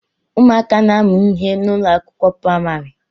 Ụmụaka na-amu ihe n'ụlọ akwụkwọ praịmarị